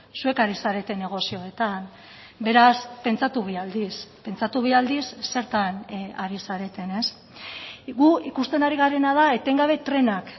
zuek ari zarete negozioetan beraz pentsatu bi aldiz pentsatu bi aldiz zertan ari zareten gu ikusten ari garena da etengabe trenak